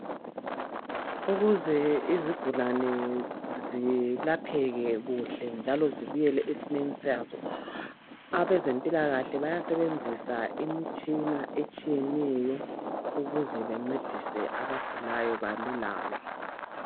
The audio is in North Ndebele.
Ukuze izigulane zilapheke kuhle njalo zibuyele esimeni sazo abezempilakahle bayasebenzisa imitshina etshiyeneyo ukuze bencedise abagulayo balulame.